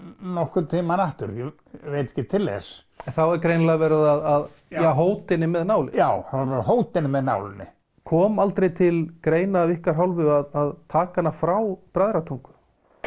nokkurn tímann aftur ég veit ekki til þess en þá er greinilega verið að hóta henni með nálinni já það að hóta henni með nálinni kom aldrei til greina af ykkar hálfu að taka hana frá Bræðratungu